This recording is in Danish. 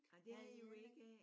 Ej det havde I jo ikke af